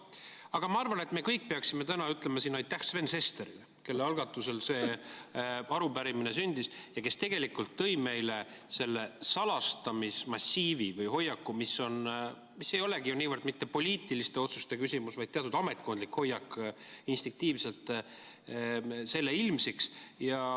Aga ma arvan, et me kõik peaksime täna ütlema aitäh siin Sven Sesterile, kelle algatusel see arupärimine sündis ja kes tegelikult tõi meile ilmsiks selle salastamismassiivi või -hoiaku, mis ei olegi niivõrd mitte poliitiliste otsuste küsimus, vaid teatud ametkondlik hoiak instinktiivselt.